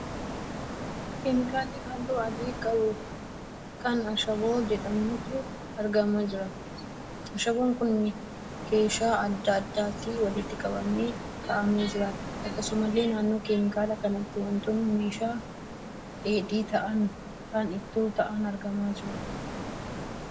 Keemikaallii halluu adii qabu kan ashaboo jedhamutu argamaa jira. Ashaboon kun keeshaa adda addaatti walitti qabamee ka'aamee jira. Akkasumallee naannoo keemikaala kanaatti wantoonni meeshaa dheedhii ta'aan kan ittoo ta'aan argamaa jiru.